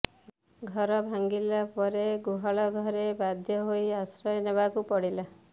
ଘର ଭାଙ୍ଗିଗଲା ପରେ ଗୁହାଳ ଘରେ ବାଧ୍ୟ ହୋଇ ଆଶ୍ରୟ ନେବାକୁ ପଡ଼ିଲା